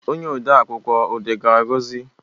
Onye ode akwụkwọ ọ gaara gị ozi?